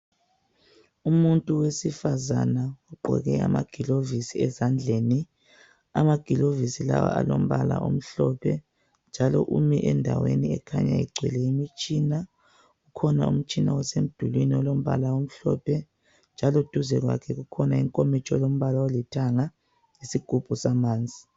Umuntu wefasizane ugqoke amaglovisi ezandleni amaglovisi lawa alombala omhlophe njalo umi endaweni ekhanya igcwele imitshina kukhona umtshina osemdulwini olombala omhlophe njalo duze kwakhe kukhona inkomitsho elombala olithanga njalo duze kwakhe kukhona isigubhu samanzi